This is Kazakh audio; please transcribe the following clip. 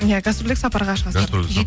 иә гострульдік сапарға шығасыздар